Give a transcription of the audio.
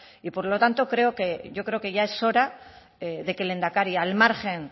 y por lo tanto creo que yo creo que ya es hora de que el lehendakari al margen